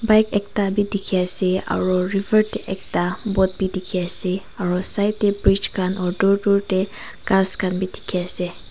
ike ekta bi dekhi ase aro river tey ekta boat bi dekhi ase aro side tey bridge khan aro dur dur tey ghas khan bi dekhi ase.